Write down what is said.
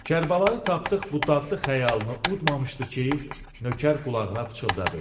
Kərbəlayı Tapdıq bu dadlı xəyalını udmamışdı ki, Nökər qulağına pıçıldadı.